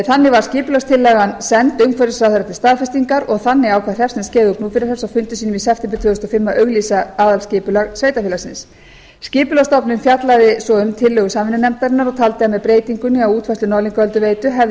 þannig var skipulagstillagan send umhverfisráðherra til staðfestingar og þannig ákvað hreppsnefnd skeiða og gnúpverjahrepps á fundi sínum í september tvö þúsund og fimm að auglýsa aðalskipulag sveitarfélagsins skipulagsstofnun fjallaði svo um tillögu samvinnunefndarinnar og taldi að með breytingunni á útfærslu norðlingaölduveitu hefði